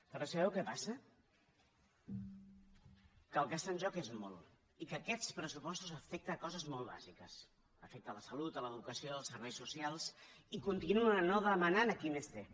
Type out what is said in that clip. però sabeu què passa que el que està en joc és molt i que aquests pressupostos afecten coses molt bàsiques afecten la salut l’educació els serveis socials i continuen no demanant a qui més té